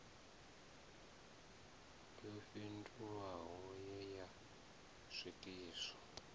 yo fhindulwaho ye ya swikiswa